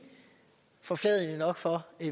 forfladigende nok for